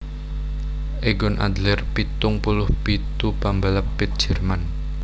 Egon Adler pitung puluh pitu pambalap pit Jerman